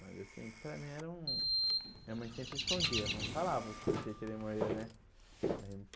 Mas assim para mim era um... Minha mãe sempre escondia, não falava do que que ele morreu né.